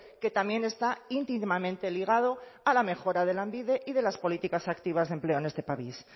que también está íntimamente ligado a la mejora de lanbide y de las políticas activas de empleo en este país